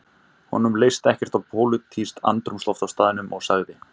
Honum leist ekkert á pólitískt andrúmsloft á staðnum og sagði